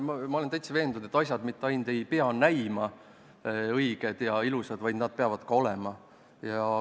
Ma olen täiesti veendunud, et asjad mitte ainult ei pea näima õiged ja ilusad, vaid nad peavad seda ka olema.